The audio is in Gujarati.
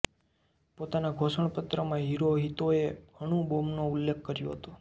પોતાના ઘોષણાપત્રમાં હિરોહિતોએ અણુ બૉમ્બોનો ઉલ્લેખ કર્યો હતોઃ